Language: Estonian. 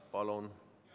Palun!